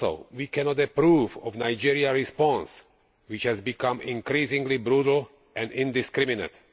We cannot approve of Nigeria's response, which has become increasingly brutal and indiscriminate.